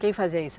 Quem fazia isso?